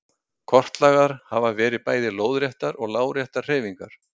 Kortlagðar hafa verið bæði lóðréttar og láréttar hreyfingar.